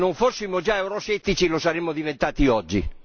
Se non fossimo già euroscettici lo saremmo diventati oggi.